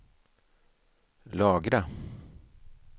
lagra